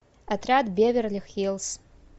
отряд беверли хиллс